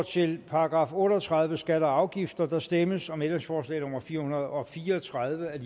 til § otte og tredive skatter og afgifter der stemmes om ændringsforslag nummer fire hundrede og fire og tredive af